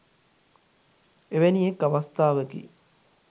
එවැනි එක් අවස්ථාවකි